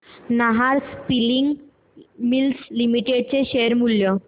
Nahar spinning mills limited चे share मूल्य